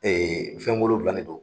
Ee fɛn wolonwula de don